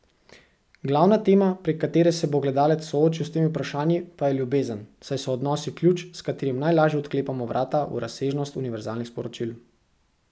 Glavna tema, prek katere se bo gledalec soočil s temi vprašanji, pa je ljubezen, saj so odnosi ključ, s katerim najlažje odklepamo vrata v razsežnost univerzalnih sporočil.